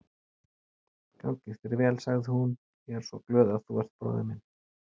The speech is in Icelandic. Gangi þér vel, sagði hún, ég er svo glöð að þú ert bróðir minn.